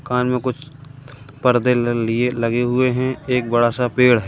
दुकान में कुछ पर्दे ल लिए लगे हुए हैं एक बड़ा सा पेड़ है।